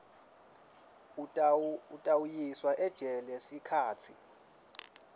utawuyiswa ejele sikhatsi